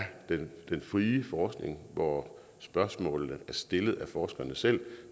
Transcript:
den frie forskning hvor spørgsmålene er stillet af forskerne selv